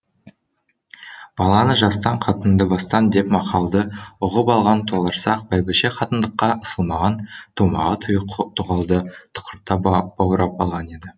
баланы жастан қатынды бастан деп мақалды ұғып алған толарсақ бәйбіше қатындыққа ысылмаған томаға тұйық тоқалды тұқырта баурап алған еді